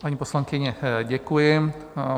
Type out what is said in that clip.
Paní poslankyně, děkuji.